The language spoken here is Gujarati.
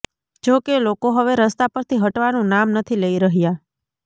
જોકે લોકો હવે રસ્તા પરથી હટવાનું નામ નથી લઈ રહ્યા